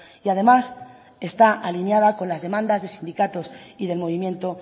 y además está alineada con las demandas de sindicatos y del movimiento